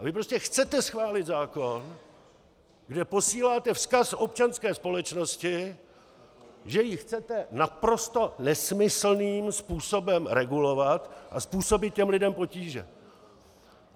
A vy prostě chcete schválit zákon, kde posíláte vzkaz občanské společnosti, že ji chcete naprosto nesmyslným způsobem regulovat a způsobit těm lidem potíže.